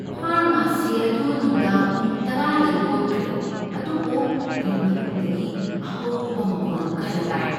Pharmacy ꯑꯗꯨ ꯅꯨꯡꯗꯥꯡ ꯄꯨꯡ ꯇꯔꯥꯗ ꯂꯣꯟꯈ꯭ꯔꯦ, ꯑꯗꯨꯕꯨ ꯑꯩ ꯃꯅꯨꯡꯗꯒꯤ ꯑꯍꯧꯕ ꯃꯈꯣꯜ ꯈꯔ ꯇꯥꯏ꯫